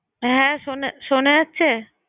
হ্যাঁ শোনা শোনা যাচ্ছে?